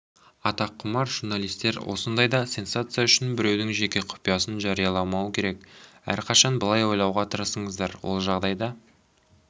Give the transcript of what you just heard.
атаққұмар журналистер осындайда сенсация үшін біреудің жеке құпиясын жарияламауы керек әрқашан былай ойлауға тырысыңыздар ол жағдайда